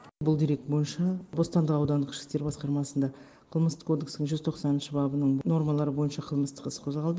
бұл дерек бойынша бостандық аудандық ішкі істер басқармасында қылмыстық кодекстің жүз тоқсаныншы бабының нормалары бойынша қылмыстық іс қозғалды